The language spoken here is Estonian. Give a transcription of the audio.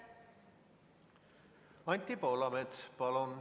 Anti Poolamets, palun!